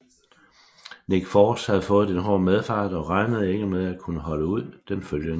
Nick Force havde fået en hård medfart og regnede ikke med at kunne holde ud den følgende dag